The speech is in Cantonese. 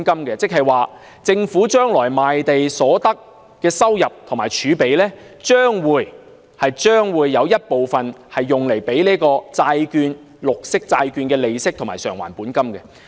即是說，將來政府賣地所得的收入和儲備，將會有一部分用作支付綠色債券的利息和償還本金。